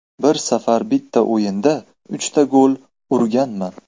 Bir safar bitta o‘yinda uchta gol urganman.